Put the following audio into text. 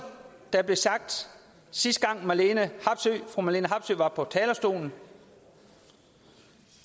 det blev sagt sidste gang fru marlene harpsøe var på talerstolen